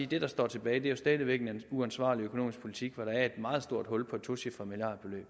det der står tilbage jo stadig væk er en uansvarlig økonomisk politik hvor der er et meget stort hul på et tocifret milliardbeløb